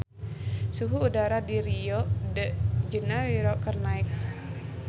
Suhu udara di Rio de Janairo keur naek